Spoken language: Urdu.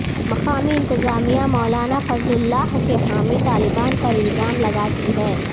مقامی انتظامیہ مولانا فضل اللہ کے حامی طالبان پر الزام لگاتی ہے